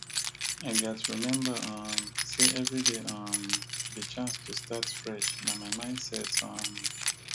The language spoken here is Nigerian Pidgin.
i gats remember um say every day um be chance to start fresh na my mindset um